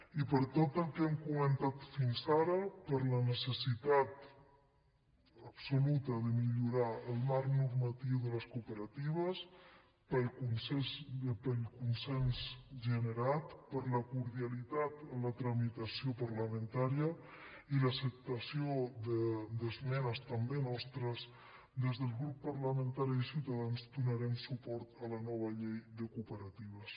i per tot el que hem comentat fins ara per la necessitat absoluta de millorar el marc normatiu de les cooperatives pel consens generat per la cordialitat en la tramitació parlamentària i l’acceptació d’esmenes també nostres des del grup parlamentari de ciutadans donarem suport a la nova llei de cooperatives